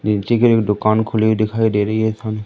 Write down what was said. music एक दुकान खुली दिखाई दे रही सा--